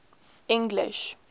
english